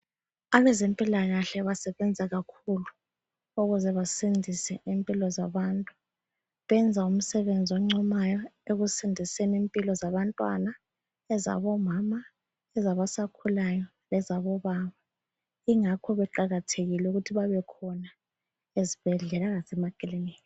Abezempilakahle basebenza kakhulu ukuze basindise impilo zabantu. Benza umsebenzi oncomayo ekusindiseni impilo zabantwana, ezabomama, ezabasakhulayo lezabobaba. Ingakho beqakathekile ukuthi babekhona ezibhedlela lasemakilinika.